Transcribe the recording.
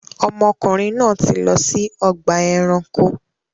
Ọmọkùnrin náà ti lọ si ọgba ẹranko.